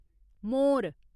मोर